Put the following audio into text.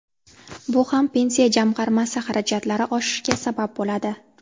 Bu ham Pensiya jamg‘armasi xarajatlari oshishiga sabab bo‘ladi.